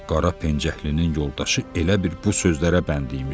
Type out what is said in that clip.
Qara pencəklinin yoldaşı elə bil bu sözlərə bənd imiş.